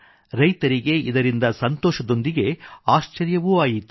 ರೈತರಿಗೆ ಇದರಿಂದ ಸಂತೋಷದೊಂದಿಗೆ ಆಶ್ಚರ್ಯವೂ ಆಯಿತು